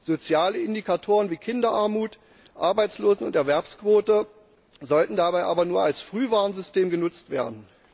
Soziale Indikatoren wie Kinderarmut, Arbeitslosen und Erwerbsquote sollten dabei aber nur als Frühwarnsystem genutzt werden.